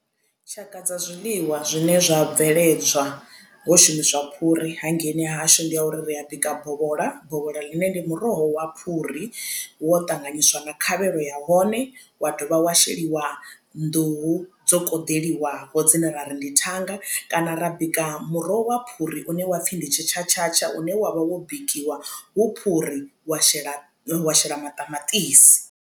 Tshaka dza zwiḽiwa zwine zwa bveledzwa ho shumiswa phuri hangeini ha hashu ndi ya uri ri a bika bovhola, bovhola ḽine ndi muroho wa phuri wo ṱanganyiswa na khavhelo ya hone wa dovha wa sheliwa nḓuhu dzo koḓeliwaho dzine ra ri ndi thanga kana ra bika muroho wa phuri une wa pfhi ndi tshi tshatshatsha une wavha wo bikiwa hu phuri wa shela wa shela maṱamaṱisi.